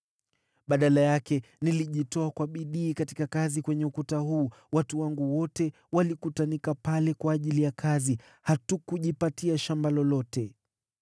Badala yake, nilijitoa kwa bidii katika kazi ya ukuta huu. Watu wangu wote walikutanika pale kwa ajili ya kazi. Hatukujipatia shamba lolote.